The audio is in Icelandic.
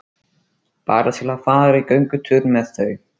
Bara til að fara í göngutúr með þau.